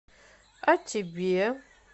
а тебе